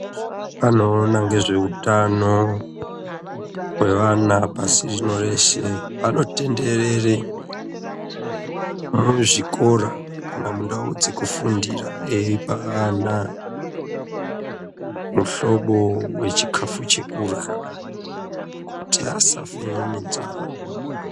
Vanoona ngezveutano hwevana pasi rino reshe vanotenderere muzvikora kana mundau dzekufundira eipa ana muhlobo wechikafu chekurya kuti asafe nenzara.